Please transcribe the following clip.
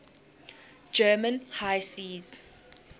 german high seas